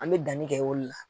An mɛ danni kɛ o le la.